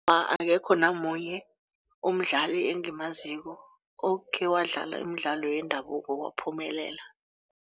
Akekho namunye umdlali engimaziko okhe wadlala imidlalo yendabuko waphumelela.